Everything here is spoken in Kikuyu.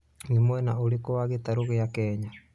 nĩ mwena ũrikũ wa gĩtarũ gĩa kenya